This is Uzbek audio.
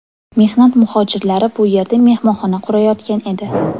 Mehnat muhojirlari bu yerda mehmonxona qurayotgan edi.